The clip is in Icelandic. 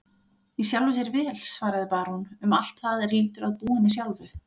Í sjálfu sér vel, svaraði barón, um allt það er lýtur að búinu sjálfu.